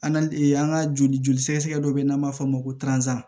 an ka joli joli sɛgɛsɛgɛ dɔ bɛ n'an b'a fɔ o ma ko